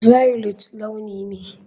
Violet launi ne.